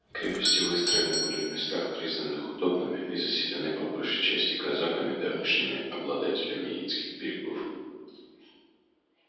крепости выстроены были в местах признанных удобными и заселены по большей части казаками давнишними обладателями яицких берегов